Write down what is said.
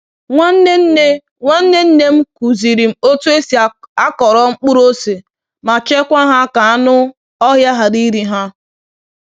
Nwanne nne Nwanne nne m kụziri m otu esi akọrọ mkpụrụ ose ma chekwaa ha ka anụ ọhịa ghara iri ha